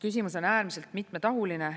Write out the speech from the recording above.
Küsimus on äärmiselt mitmetahuline.